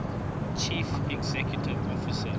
chief executive officer